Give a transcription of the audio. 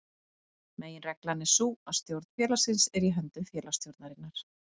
Meginreglan er sú að stjórn félagsins er í höndum félagsstjórnarinnar.